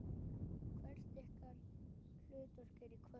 Hvert er ykkar hlutverk í kvöld?